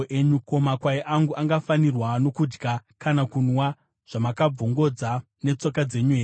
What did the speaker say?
Ko, makwai angu angafanirwa nokudya kana kunwa zvamakabvongodza netsoka dzenyu here?